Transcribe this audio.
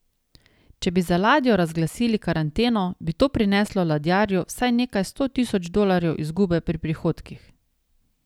Če bi za ladjo razglasili karanteno, bi to prineslo ladjarju vsaj nekaj sto tisoč dolarjev izgube pri prihodkih.